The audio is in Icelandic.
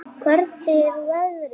Hvernig er veðrið í dag?